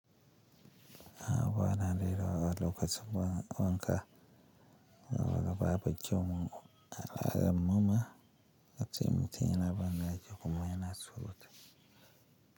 A'a bana lilo a lokaci wa-wanka, babu kyaumu-mama, ace mutin ya na bandaki kuma ya suwuti.